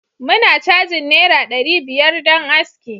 muna cajin naira dari biyar don aski